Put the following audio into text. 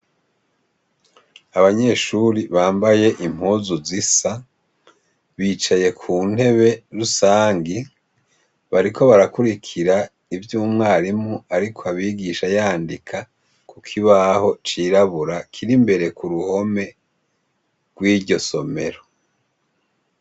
Abanyeshure bambaye impuzu zisa, bicaye ku ntebe rusangi, bariko barakurikira ivyo umwarimu ariko abigisha, yandika ku kibaho cirabura kiri imbere ku ruhome rw'iryo somero.